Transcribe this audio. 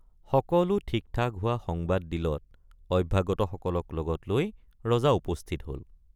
সকলো ঠিকঠাক হোৱা সংবাদ দিলত অভ্যাগতসকলক লগত লৈ ৰজা উপস্থিত হল।